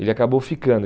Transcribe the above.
Ele acabou ficando.